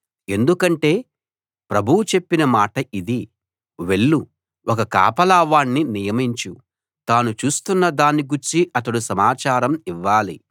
ఎందుకంటే ప్రభువు నాకు చెప్పిన మాట ఇది వెళ్ళు ఒక కాపలా వాణ్ణి నియమించు తాను చూస్తున్న దాని గూర్చి అతడు సమాచారం ఇవ్వాలి